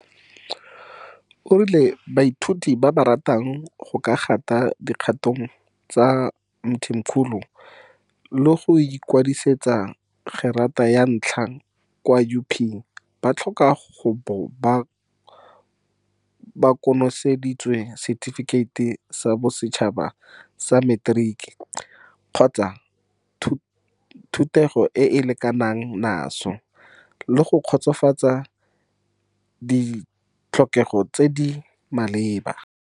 O rile baithuti ba ba ratang go ka gata mo dikgatong tsa ga Mthimkhulu le go ikwadisetsa gerata ya ntlha kwa UP ba tlhoka go bo ba konoseditse Setifikeiti sa Bosetšhaba sa Materiki, NSC, kgotsa thutego e e lekanang naso, le go kgotsofatsa ditlhokego tse di maleba.